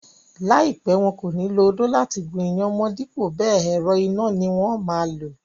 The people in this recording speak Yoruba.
Láìpẹ́, wọn kò ní lo odó láti gún iyán mọ́n dípò bẹẹ̀, ẹ̀rọ iná ni wón máa lò.